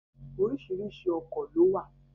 Oríṣiríṣi ọkọ̀ lówà.